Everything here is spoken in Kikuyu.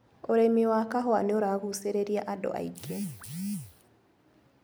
ũrĩmi wa kahũa nĩũragucĩriria andũ aingĩ.